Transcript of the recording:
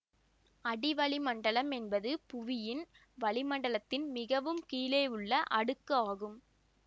அடிவளி மண்டலம் என்பது புவியின் வளிமண்டலத்தின் மிகவும் கீழேயுள்ள அடுக்கு ஆகும்